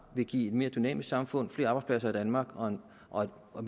vil give et mere dynamisk samfund flere arbejdspladser i danmark og og